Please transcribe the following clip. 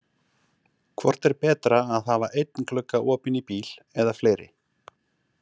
Hvort er betra að hafa einn glugga opinn í bíl eða fleiri.